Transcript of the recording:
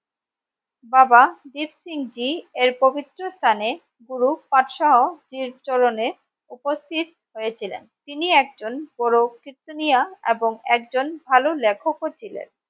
বাবা দ্বীপ সিং জী এর পবিত্র স্থানে গুরু পাঠসহ জীর চরণে উপস্থিত হয়েছিলেন তিনি একজন পুরো কীর্তনীয় এবং একজন ভালো লেখক ও ছিলেন